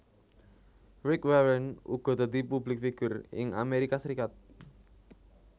Rick Warren uga dadi publik figur ing Amérika Serikat